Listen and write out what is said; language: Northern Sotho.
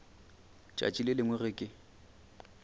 tšatši le lengwe ge ke